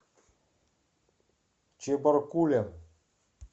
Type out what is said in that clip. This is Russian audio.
чебаркулем